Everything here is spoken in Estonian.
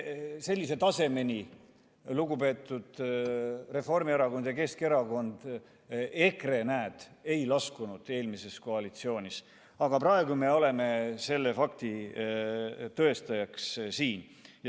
Sellise tasemeni, lugupeetud Reformierakond ja Keskerakond, EKRE eelmises koalitsioonis ei laskunud, aga praegu me oleme selle fakti tõendajaks.